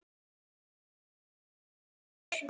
Bobbar tveir.